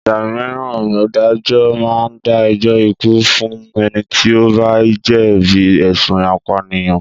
Ìgbà míràn adájọ́ máa ń dá ẹjọ́ ikú fún ẹni tí o bá jẹ̀bi ẹ̀sùn apànìyàn.